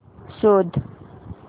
शोध